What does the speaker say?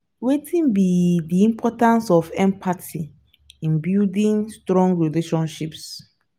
wetin be di importance of empathy in building strong relationships?